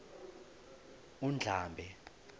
undlambe